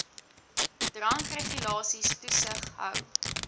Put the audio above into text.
drankregulasies toesig hou